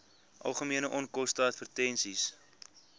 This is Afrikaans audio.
algemene onkoste advertensies